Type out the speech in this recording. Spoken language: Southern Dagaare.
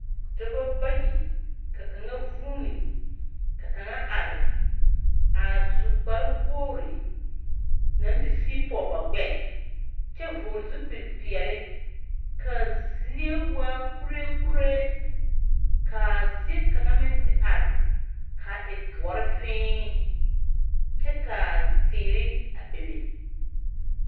Dɔbɔ bayi ka kaŋa vũũni ka kaŋa are a su kpare wogiri naŋ te sigi pɔge ba gbɛɛ kyɛ vɔgele zupili peɛle ka a zie waa kuree kuree ka zie kaŋa meŋte are a e doɔre fẽẽ kyɛka teere bebe.